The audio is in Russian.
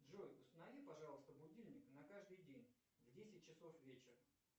джой установи пожалуйста будильник на каждый день на десять часов вечера